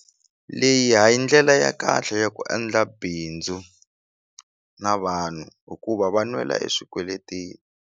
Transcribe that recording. Leyi ha yi ndlela ya kahle ya ku endla bindzu na vanhu hikuva va nwela eswikweleteni.